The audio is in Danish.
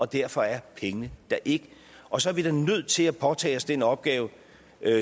derfor er pengene der ikke og så er vi da nødt til at påtage os den opgave